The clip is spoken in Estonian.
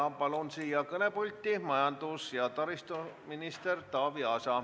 Ma palun kõnepulti majandus- ja taristuminister Taavi Aasa.